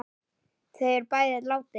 Þau eru bæði látin.